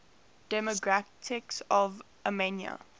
demographics of armenia